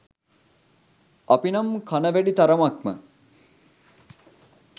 අපිනම් කන වැඩි තරමක්ම